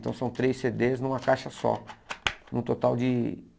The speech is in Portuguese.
Então são três cê dês numa caixa só, no total de